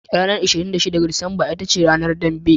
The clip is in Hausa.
Ranar 26 ga Disamba ita ce Ranar Dambe.